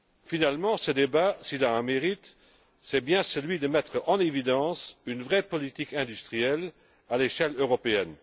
Finalement, ce débat, s'il a un mérite, c'est bien celui de mettre en évidence une vraie politique industrielle à l'échelle européenne.